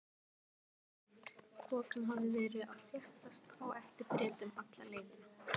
Þokan hafði verið að þéttast á eftir Bretum alla leiðina.